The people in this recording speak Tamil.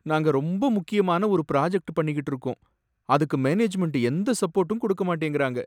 நாங்க ரொம்ப முக்கியமான ஒரு பிராஜக்ட் பண்ணிகிட்டு இருக்கோம், அதுக்கு மேனேஜ்மென்ட் எந்த சப்போர்டும் குடுக்க மாட்டேங்கிறாங்க.